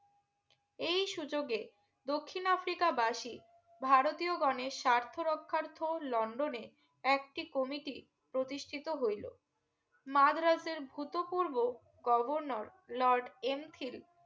এই সুযোগে দক্ষিন আফ্রিকা বাসি ভারতীয় গনে স্বার্থ রক্ষার্থে লন্ডনে একটি Committee প্রতিষ্ঠিত হইলো মাড়াতের ভূত পূর্ব governor লোড এন্থিল